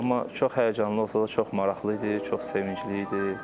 Amma çox həyəcanlı olsa da çox maraqlı idi, çox sevincli idi.